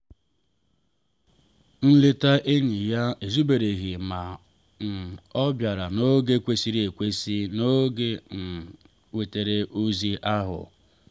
nleta enyi ya ezubereghị ma um ọ bịara n’oge kwesịrị ekwesị n’oge o um nwetara ozi ahụ.